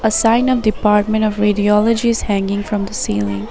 The sign up department of radiologist hanging from the ceiling.